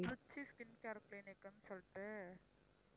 Trichy skin carte clinic சொல்லிட்டு